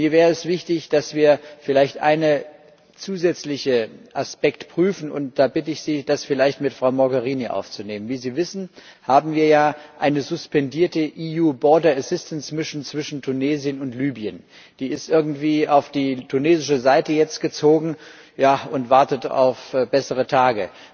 Mir wäre es wichtig, dass wir vielleicht einen zusätzlichen Aspekt prüfen, und da bitte ich Sie, das vielleicht mit Frau Mogherini aufzunehmen Wie Sie wissen, haben wir ja eine suspendierte EU Border Assistance Mission zwischen Tunesien und Libyen. Die ist irgendwie jetzt auf die tunesische Seite gezogen und wartet auf bessere Tage.